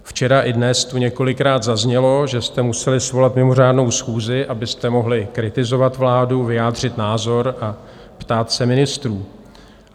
Včera i dnes tu několikrát zaznělo, že jste museli svolat mimořádnou schůzi, abyste mohli kritizovat vládu, vyjádřit názor a ptát se ministrů.